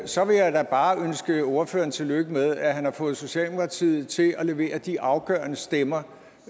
så vil jeg da bare ønske ordføreren tillykke med at han har fået socialdemokratiet til at levere de afgørende stemmer